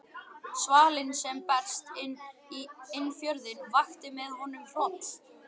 Svalinn sem barst inn fjörðinn vakti með honum hroll.